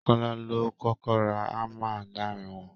Kọ́lá ló kọ́kọ́ ra hammer láàárin wọn